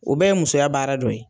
O bɛ ye musoya baara dɔ ye.